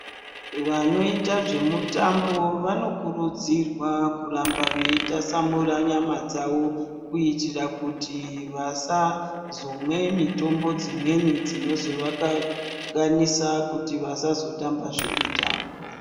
Vanoita zvemutambo vanokurudzirwa kuramba veitasamura nyama dzavo, kuitira kuti vasazomwe mitombo dzimweni dzinozovakanganisa kuti vasazotambazve mitambo .